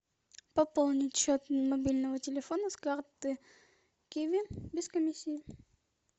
пополнить счет мобильного телефона с карты киви без комиссии